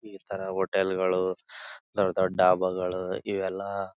ಈ ತರ ಹೋಟೆಲ್ ಗಳು ದೊಡ್ಡ್ ದೊಡ್ಡ್ ಡಾಬಾಗಲು ಇವೆಲ್ಲ.